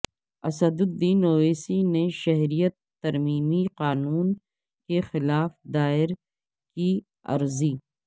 اسدالدین اویسی نے شہریت ترمیمی قانون کے خلاف دائر کی عرضی